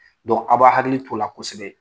a b'a hakili t'o la kosɛbɛ.